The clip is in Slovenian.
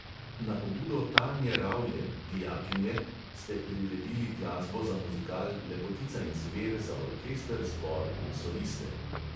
Na pobudo tanje ravljen, dijakinje, ste priredili glasbo za muzikal lepotica in zver za orkester, zbor in soliste.